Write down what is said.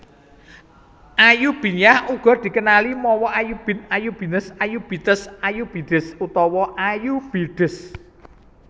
Ayyubiyyah uga dikenali mawa Ayyubid Ayoubites Ayyoubites Ayoubides utawané Ayyoubides